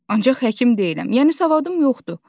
Ancaq həkim deyiləm, yəni savadım yoxdur.